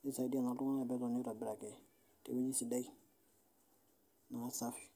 nisho sii iltunganak metotoni aitobiraki tewoji sidai naa safi.